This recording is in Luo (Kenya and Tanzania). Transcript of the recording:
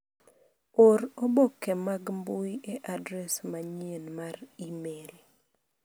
Or oboke mag mbui e adres manyien mar imel.